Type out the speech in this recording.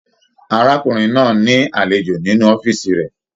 Arákùnrin náà ní alejò nínú ọ̀fiísí rẹ.